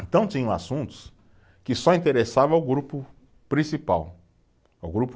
Então tinham assuntos que só interessavam ao grupo principal, ao grupo